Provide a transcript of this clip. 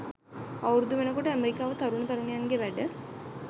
අවුරුදු වෙනකොට ඇමරිකාවෙ තරුණ තරුණියන්ගෙ වැඩ.